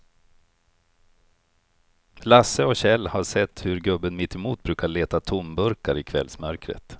Lasse och Kjell har sett hur gubben mittemot brukar leta tomburkar i kvällsmörkret.